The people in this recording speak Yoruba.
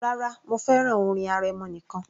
Rárá, mo fẹ́ràn orin arẹmọ nìkan